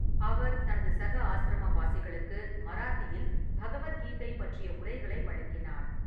அவர் தனது சக ஆசிரமவாசிகளுக்கு மராத்தியில் பகவத் கீதை பற்றிய உரைகளை வழங்கினார்.